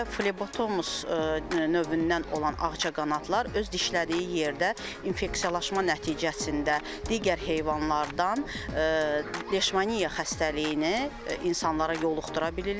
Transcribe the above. Bir də Flebotomus növündən olan ağcaqanadlar öz dişlədiyi yerdə infeksiyalaşma nəticəsində digər heyvanlardan leşmaniya xəstəliyini insanlara yoluxdura bilirlər.